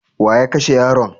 Wa ya kashe yaron?